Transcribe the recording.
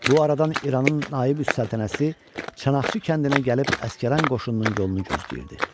Bu aradan İranın Naibüs Səltənəti Çanaqçı kəndinə gəlib Əsgəran qoşununun yolunu gözləyirdi.